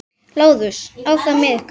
LÁRUS: Áfram með ykkur!